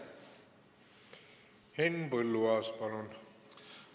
Henn Põlluaas, palun!